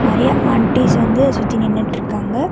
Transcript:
நெறையா ஆன்ட்டிஸ் வந்து சுத்தி நின்னுட்டுருக்காங்க.